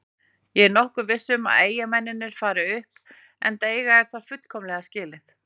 Ég er nokkuð viss um að Eyjamennirnir fari upp enda eiga þeir það fullkomlega skilið.